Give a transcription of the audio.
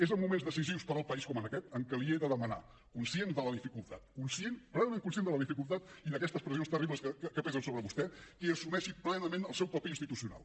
és en moments decisius per al país com en aquest en què li he de demanar conscient de la dificultat plenament conscient de la dificultat i d’aquestes pressions terribles que pesen sobre vostè que assumeixi plenament el seu paper institucional